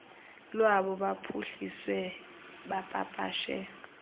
lwabo baphuhlise bapapashe